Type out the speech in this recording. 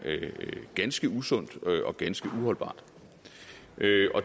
ganske usundt og ganske uholdbart